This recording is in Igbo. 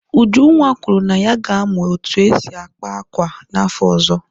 Ujunwa kwuru na ya ga-amụ otú e si akpa akwa n'afọ ọzọ.